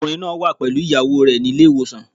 Ọkùnrin náà wà pẹ̀lú ìyàwó rẹ̀ nílé ìwòsàn.